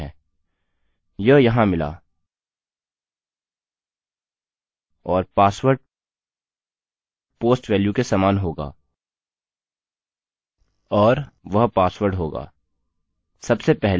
यह यहाँ मिला और पासवर्ड post वेल्यू के समान होगा और और वह password होगा